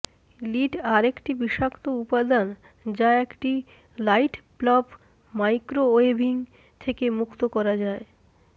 lead আরেকটি বিষাক্ত উপাদান যা একটি লাইটব্লব মাইক্রোওয়েভিং থেকে মুক্ত করা যায়